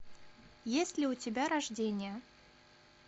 есть ли у тебя рождение